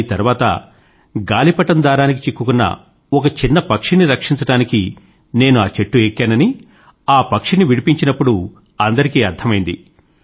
కానీ తర్వాత గాలిపటం దారానికి చిక్కుకున్న ఒక చిన్న పక్షిని రక్షించడానికి నేను ఆ చెట్టు ఎక్కానని ఆ పక్షిని విడిపించినప్పుడు అందరికీ అర్థమైంది